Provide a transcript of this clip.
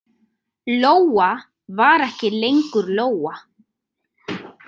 Lóa var ekki lengur Lóa.